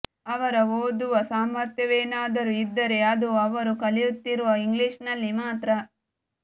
ಅವರ ಓದುವ ಸಾಮರ್ಥ್ಯವೇನಾದರೂ ಇದ್ದರೆ ಅದು ಅವರು ಕಲಿಯುತ್ತಿರುವ ಇಂಗ್ಲಿಷಿನಲ್ಲಿ ಮಾತ್ರ